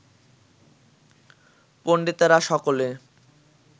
পণ্ডিতেরা সকলে